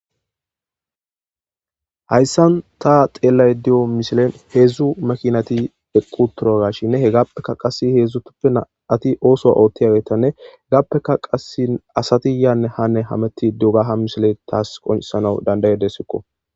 Hayssan ta xeellay di'o mishilen heedzdzu makinati eqqu turagashinne he gappeka qassi heedzdzutuppe na'ati ooso oottiyageetanne gappeka qasi asati yaanne hanne hametti dogaha mishile taas qonsana dandayedesikko.